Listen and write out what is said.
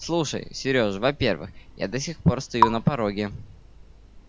слушай сережа во-первых я до сих пор стою на пороге